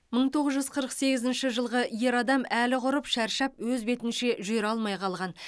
мың тоғыз жүз қырық сегізінші жылғы ер адам әлі құрып шаршап өз бетінше жүре алмай қалған